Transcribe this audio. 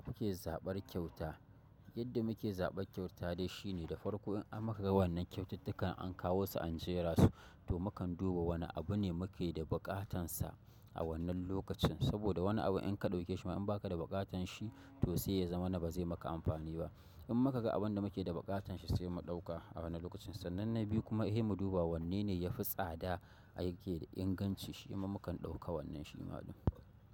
Kuke zaɓar kyauta, yadda muke zaɓar kyauta dai shine da farko in an maka ga wannan kyaututtukan an kawo su an jera su to mukan duba wane abu ne muke da buƙatansa a wannan lokacin. Saboda wani abu in ka ɗauke shi amma in ba ka da buƙatar shi to sai ya zama na ba zai maka amfani ba. In muka ga abin da muke da buƙatar shi sai mu ɗauka a wannan lokacin. Sannan na biyu kuma eh mu duba wanne ne ya fi tsada aiki da inganci shi ma mukan ɗauka wannan shima ɗin.